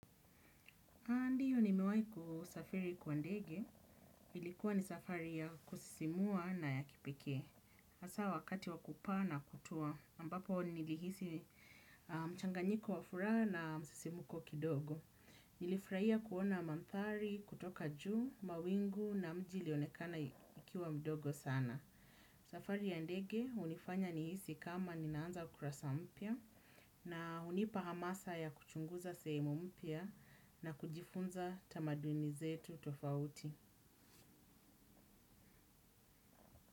A ndio ni miwewai kusafiri kwa ndege, ilikuwa ni safari ya kusisimua na ya kipekee. Hasa wakati wakupaa na kutua, ambapo nilihisi mchanganyiko wa furaha na msisimuko kidogo. Nilifurahia kuona mandhari, kutoka juu, mawingu na mji ilionekana ikiwa mdogo sana. Safari ya ndege hunifanya nihisi kama ninaanza kurasa mpya na hunipa hamasa ya kuchunguza sehemu mpya na kujifunza tamaduni zetu tofauti.